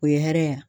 O ye hɛrɛ ye wa